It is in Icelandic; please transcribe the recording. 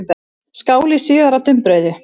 Skál í sjö ára dumbrauðu.